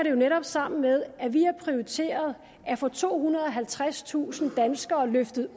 jo netop sammen med at vi har prioriteret at få tohundrede og halvtredstusind danskere flyttet